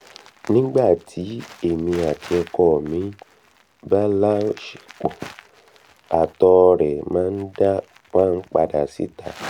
nígbà tí èmi àti ọkọ mi bá láọṣepọ̀ àtọ rẹ̀ máa ń padà síta